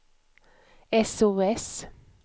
sos